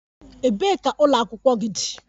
Ebee ka ụlọ akwụkwọ gị dị?